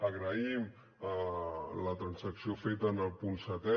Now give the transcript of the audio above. agraïm la transacció feta en el punt setè